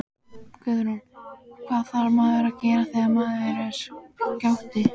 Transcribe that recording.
Guðrún: Hvað þarf maður að gera þegar maður er skáti?